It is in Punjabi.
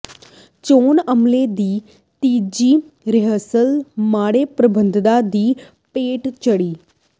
ਚੋਣ ਅਮਲੇ ਦੀ ਤੀਜੀ ਰਿਹਰਸਲ ਮਾੜੇ ਪ੍ਰਬੰਧਾਂ ਦੀ ਭੇਟ ਚੜ੍ਹੀ